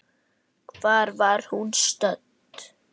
Hvar var hún stödd?